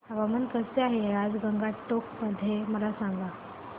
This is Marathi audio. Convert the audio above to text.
हवामान कसे आहे आज गंगटोक मध्ये मला सांगा